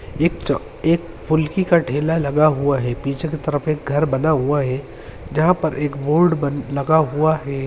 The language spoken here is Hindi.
एक च एक फुलकी का ठेला लगा हुआ है पीछे की तरफ एक घर बना हुआ है जहा पर एक बोर्ड बन लगा हुआ है।